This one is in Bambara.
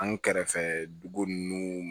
An kɛrɛfɛ dugu nunnu